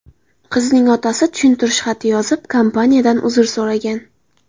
Qizning otasi tushuntirish xati yozib, kompaniyadan uzr so‘ragan.